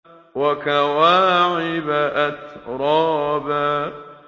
وَكَوَاعِبَ أَتْرَابًا